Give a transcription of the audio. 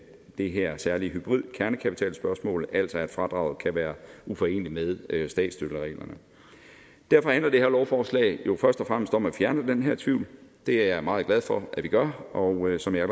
det her særlige hybridkernekapitalspørgsmål altså at fradraget kan være uforeneligt med statsstøttereglerne derfor handler det her lovforslag jo først og fremmest om at fjerne den her tvivl og det er jeg meget glad for at vi gør og som jeg